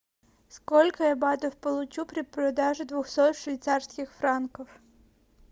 сколько я батов получу при продаже двухсот швейцарских франков